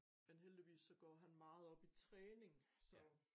Men heldigvis så går han meget op i træning så